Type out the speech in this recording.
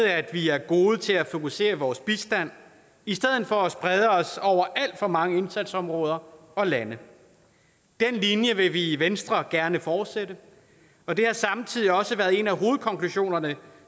at vi er gode til at fokusere vores bistand i stedet for at sprede os over alt for mange indsatsområder og lande den linje vil vi i venstre gerne fortsætte og det har samtidig også været en af hovedkonklusionerne